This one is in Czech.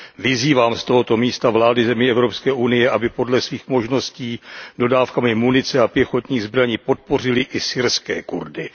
Vyzývám z tohoto místa vlády zemí Evropské unie, aby podle svých možností dodávkami munice a pěchotních zbraní podpořily i syrské Kurdy.